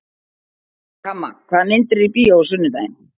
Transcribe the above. Kamma, hvaða myndir eru í bíó á sunnudaginn?